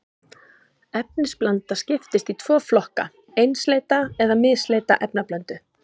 Efnablanda skiptist í tvo flokka, einsleita eða misleita efnablöndu.